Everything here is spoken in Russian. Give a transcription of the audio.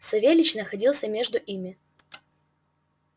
савельич находился между ими